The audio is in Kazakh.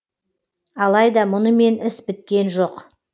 алайда мұнымен іс біткен жоқ